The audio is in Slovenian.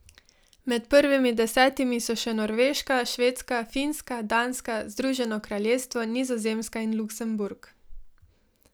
Med prvimi desetimi so še Norveška, Švedska, Finska, Danska, Združeno kraljestvo, Nizozemska in Luksemburg.